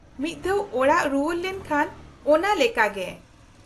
-ᱢᱤᱫ ᱫᱷᱟᱣ ᱚᱲᱟᱜ ᱨᱩᱣᱟᱹᱲ ᱞᱮᱱᱠᱷᱟᱱ ᱚᱱᱟ ᱞᱮᱠᱟ ᱜᱮ ᱾